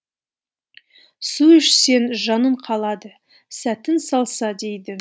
су ішсең жаның қалады сәтін салса дейді